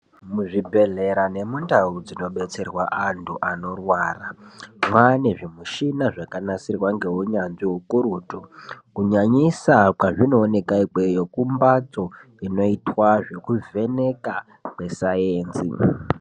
Muzvibhedhlera nemundau dzinobetserwa antu anorwara mwaane zvimishina zvaamwo zvakanasirwa ngeunyanzvi hukurutu kunyanyisa kwezvinooneka kumbatso inoita zvekuvheneka kwesainzi.